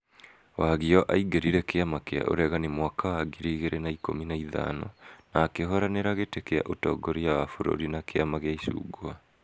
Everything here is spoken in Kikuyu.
Wagio aingĩrire kĩama kĩa uregani mwaka wa ngiri igĩrĩ na ikũmi na ithano na akĩhũranĩra gĩtĩ kĩa ũtongoria wa bũrũri na kiama gĩa icungwa.